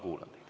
Kuulan teid.